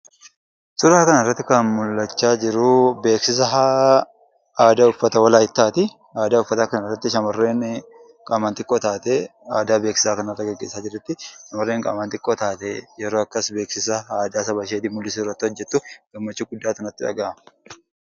Suuraa kanarratti kan mul'achaa jiru beeksisa aadaa uffata Walaayittaati. Aadaa uffataa kanarratti shamarreeni qaamaan xiqqoo taate, aadaa beeksisaa kanarra gaggeessaa jirti. Shamarreen qaamaan xiqqoo taate yeroo akkas beeksisa aadaa sabashee mul'isuu irratti hojjettu, gammachuu guddaatu natti dhagahama!